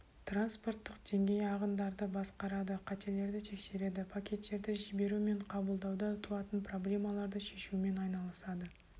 транспорттық деңгей ағындарды басқарады қателерді тексереді пакеттерді жіберу мен қабылдауда туатын проблемаларды шешумен айналысады